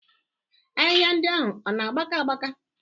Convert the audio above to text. Ahịhịa ndị ahụ ọ na-agbaka agbaka?